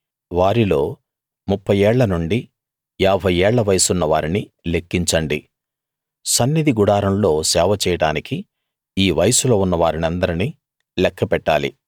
వారిల్లో ముప్ఫై ఏళ్ల నుండి యాభై ఏళ్ల వయసున్న వారిని లెక్కించండి సన్నిధి గుడారంలో సేవ చేయడానికి ఈ వయస్సులో ఉన్న వారినందర్నీ లెక్కపెట్టాలి